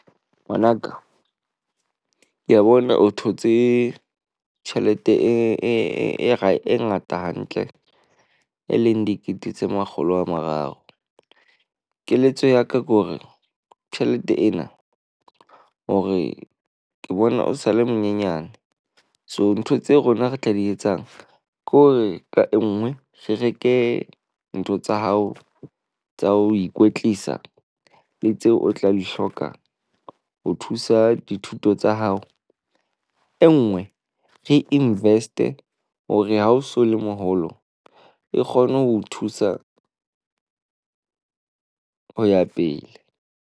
Ngwanaka, ke a bona o thotse tjhelete e ngata hantle e leng dikete tse makgolo a mararo. Keletso ya ka ke hore tjhelete ena hore ke bona o sa le monyenyane. So ntho tseo rona re tla di etsang ke hore ka e nngwe re reke ntho tsa hao tsa ho ikwetlisa. Le tseo o tla di hloka ho thusa dithuto tsa hao. E nngwe re invest-e hore ha o so le moholo e kgone ho o thusa ho ya pele.